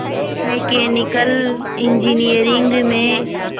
mechanical engineering में